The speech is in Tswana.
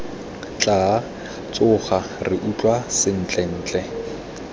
tla tsoga re utlwa sentlentle